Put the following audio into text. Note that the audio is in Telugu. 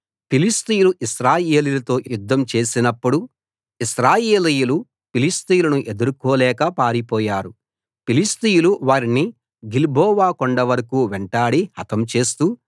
ఫిలిష్తీయులు ఇశ్రాయేలీయులతో యుద్ధం చేసినప్పుడు ఇశ్రాయేలీయులు ఫిలిష్తీయులను ఎదుర్కోలేక పారిపోయారు ఫిలిష్తీయులు వారిని గిల్బోవ కొండ వరకూ వెంటాడి హతం చేస్తూ